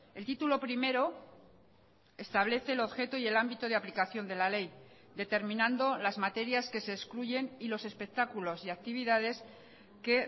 el título primero establece el objeto y el ámbito de aplicación de la ley determinando las materias que se excluyen y los espectáculos y actividades que